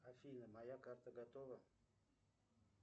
афина моя карта готова